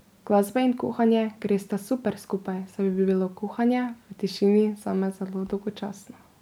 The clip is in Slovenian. Glasba in kuhanje gresta super skupaj, saj bi bilo kuhanje v tišini zame zelo dolgočasno.